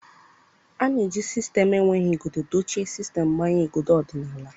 A na-eji sistemu enweghị igodo dochie sistemu mgbanye igodo ọdịnala.